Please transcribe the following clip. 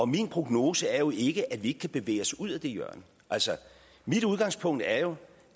min prognose er jo ikke at vi ikke kan bevæge os ud af det hjørne altså mit udgangspunkt er jo